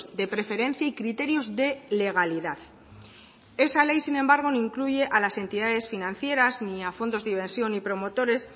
de preferencia y criterios de legalidad esa ley sin embargo no incluye a las entidades financieras ni a fondos de inversión y promotores